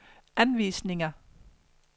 anvisninger